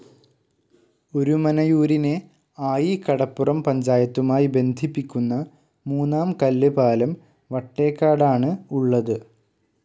ഒരുമനയൂരിനെ, ആയികടപ്പുറം പഞ്ചായത്തുമായി ബന്ധിപ്പിക്കുന്ന മൂന്നാം കല്ല് പാലം വട്ടേക്കാടാണ് ഉള്ളത്.